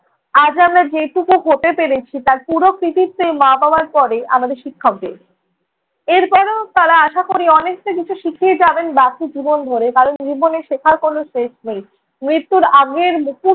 আজ আমরা যেটুকু হতে পেরেছি তার পুরো কৃতিত্ব এই মা-বাবার পরে আমাদের শিক্ষকদের। এরপরেও তাঁরা আশা করি অনেকটা কিছু শিখিয়ে যাবেন বাকি জীবন ধরে, কারণ জীবনে শেখার কোনো শেষ নেই। মৃত্যুর আগের মুহূর্ত